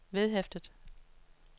vedhæftet